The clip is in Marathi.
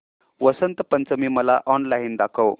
वसंत पंचमी मला ऑनलाइन दाखव